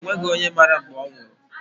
O nweghị onye mara mgbe ọ nwụrụ.